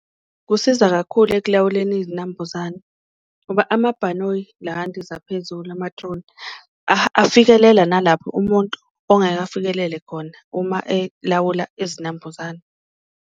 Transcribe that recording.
Kusiza kakhulu ekulawuleni izinambuzane ngoba amabhanoyi la andiza phezulu, ama-drone afikelela nalapho umuntu ongeke afikelele khona uma elawula izinambuzane.